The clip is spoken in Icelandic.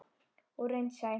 Og raunsæ.